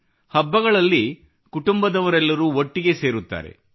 ಹಬ್ಬಗಳಲ್ಲಿ ಕುಟುಂಬದವರೆಲ್ಲರೂ ಒಟ್ಟಿಗೆ ಸೇರುತ್ತಾರೆ